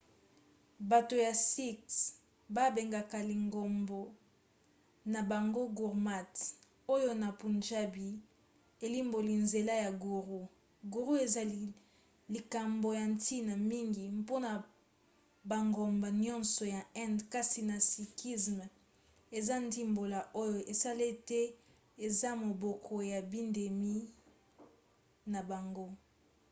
bato ya sikhs babengaka lingomba na bango gurmat oyo na punjabi elimboli nzela ya guru". guru eza likambo ya ntina mingi mpona bangomba nyonso ya inde kasi na sikhisme eza ndimbola oyo esala ete ezala moboko ya bindimeli na bango